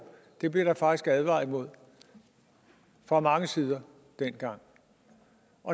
blev der faktisk advaret imod fra mange sider dengang